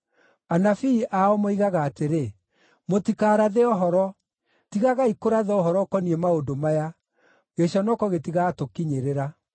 Anabii ao moigaga atĩrĩ, “Mũtikarathe ũhoro. Tigagai kũratha ũhoro ũkoniĩ maũndũ maya; gĩconoko gĩtigatũkinyĩrĩra.”